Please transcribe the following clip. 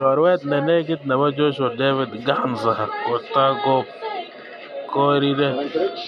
Chorwet nenegit nebo Joshua David Ghansa kotagubkorire.